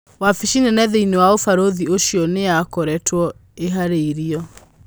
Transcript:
Wafisi nene thĩinĩi wa ũbarũthi ũcio nĩyakoretwo ĩharĩrĩirwo.